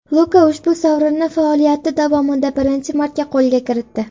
Luka ushbu sovrinni faoliyati davomida birinchi marta qo‘lga kiritdi.